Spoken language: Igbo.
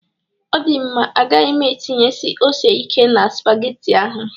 Ọ dị mma, agaghị m etịnyesi ose ikè na spagetị ahụ